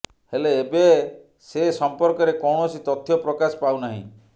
ହେଲେ ଏବେ ସେ ସମ୍ପର୍କରେ କୌଣସି ତଥ୍ୟ ପ୍ରକାଶ ପାଉ ନାହିଁ